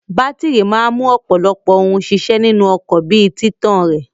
Bátírí máa mú ọ̀pọ̀lọpọ̀ ohun ṣiṣẹ́ nínú ọkọ̀ bí i títàn rẹ̀.